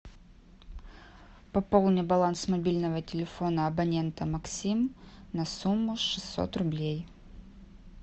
пополни баланс мобильного телефона абонента максим на сумму шестьсот рублей